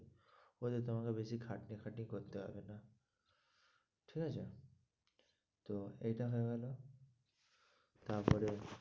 ওতে তোমাকে বেশি খাটা-খাটনি করতে হবে না ঠিকআছে তো এইটা হয়ে গেলো তারপরে